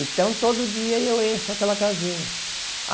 Então, todo dia eu encho aquela casinha.